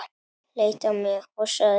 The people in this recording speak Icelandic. Leit á mig og sagði